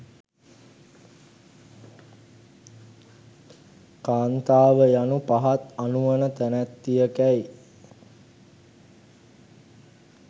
කාන්තාව යනු පහත්, අනුවණ තැනැත්තියකැයි